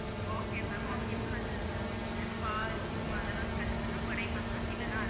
Okay ma'am okay ma'am அந்த இதுல அது spa, gym அதுலா cut பண்ணா குறையுமா ma'am இல்ல அதுலா